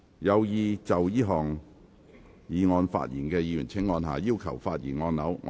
有意就這項議案發言的議員請按下"要求發言"按鈕。